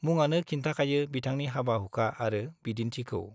मुङानो खिन्थाखायो बिथांनि हाबा-हुखा आरो बिदिन्थिखौ।